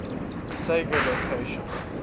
saga locations